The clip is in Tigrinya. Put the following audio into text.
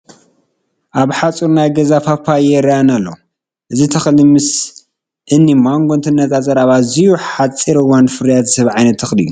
ኣብ ሓፁር ናይ ገዛ ፓፓየ ይርአየና ኣሎ፡፡ እዚ ተኽሊ ምስ እኒ ማንጎ እንትነፃፀር ኣብ ኣዝዩ ሓፂር እዋን ፍርያት ዝህብ ዓይነት ተኽሊ እዩ፡፡